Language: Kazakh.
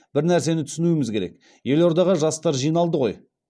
бір нәрсені түсінуіміз керек елордаға жастар жиналды ғой